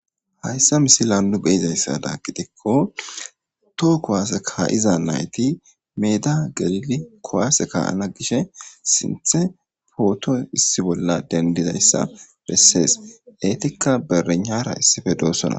Haysa misilan nu beyozaysada gidiko to kuwase ka'iza nayti meda gelidi kuwase ka'sna gishe sinthe poto issi bolla dendidaysa besses etika bereynara issipe doosona.